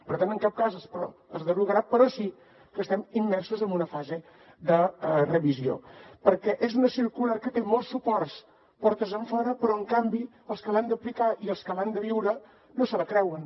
per tant en cap cas es derogarà però sí que estem immersos en una fase de revisió perquè és una circular que té molts suports de portes enfora però en canvi els que l’han d’aplicar i els que l’han de viure no se la creuen